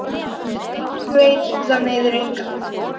Það sem enginn veit það meiðir engan.